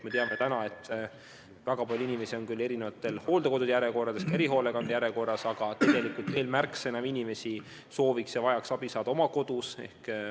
Me teame, et väga palju inimesi on hooldekodu järjekorras, ka erihoolekande järjekorras, aga tegelikult veel märksa enam inimesi soovib ja vajab abi oma kodus.